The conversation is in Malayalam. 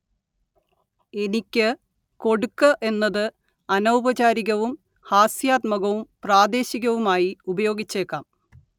എനിക്കു് കൊടുക്കു് എന്നതു് അനൗപചാരികവും ഹാസ്യാത്മകവും പ്രാദേശികവുമായി ഉപയോഗിച്ചേക്കാം